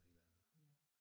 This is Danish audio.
Ja